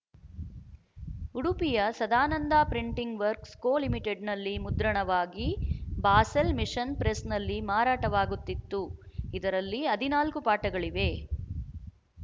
ಉಡುಪಿಯ ಸದಾನಂದ ಪ್ರಿಂಟಿಂಗ್ ವಕ್ರ್ಸ್ ಕೊಲಿಮಿಟೆಡ್‍ನಲ್ಲಿ ಮುದ್ರಣವಾಗಿ ಬಾಸೆಲ್ ಮಿಶನ್ ಪ್ರೆಸ್‍ನಲ್ಲಿ ಮಾರಾಟವಾಗುತ್ತಿತ್ತು ಇದರಲ್ಲಿ ಹದಿನಾಲ್ಕು ಪಾಠಗಳಿವೆ